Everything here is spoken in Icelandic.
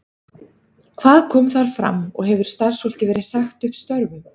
Hvað kom þar fram og hefur starfsfólki verið sagt upp störfum?